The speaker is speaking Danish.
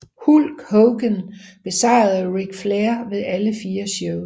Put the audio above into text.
Hulk Hogan besejrede Ric Flair ved alle fire shows